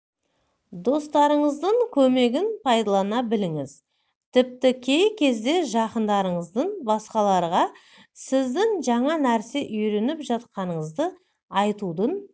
достарыңыздың көмегін пайдалана біліңіз тіпті кей кезде жақындарыңыздың басқаларға сіздің жаңа нәрсе үйреніп жатқаныңызды айтудың